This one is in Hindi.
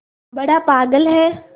बड़ा पागल है